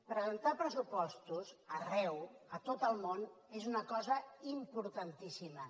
presentar pressupostos arreu a tot el món és una cosa importantíssima